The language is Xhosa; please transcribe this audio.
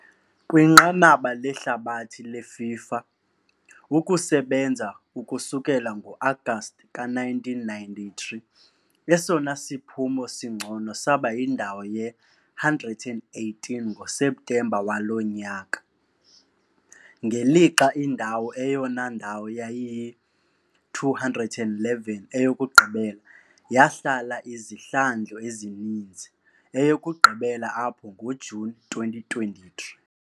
Kwinqanaba lehlabathi leFIFA, ukusebenza ukusukela ngo-Agasti ka-1993, esona siphumo singcono saba yindawo ye-118 ngoSeptemba waloo nyaka, ngelixa indawo eyona ndawo yayiyi-211, eyokugqibela, yahlala izihlandlo ezininzi, eyokugqibela apho ngoJuni 2023.